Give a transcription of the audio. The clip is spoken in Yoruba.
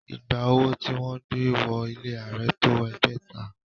Ìgbà owó tí wọ́n gbé wọ ilé Ààrẹ tó ẹgbẹ̀ta